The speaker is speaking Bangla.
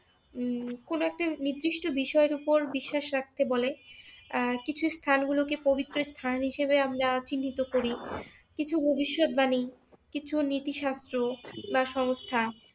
উম কোন একটা নিদিষ্ট বিষয়ের উপর বিশ্বাস রাখতে বলে আহ কিছু স্থানগুলোকে পবিত্রস্থান হিসেবে আমরা চিহ্নিত করি, কিছু ভবিষ্যৎবাণী, কিছু নীতিশাস্ত্র বা সংস্থা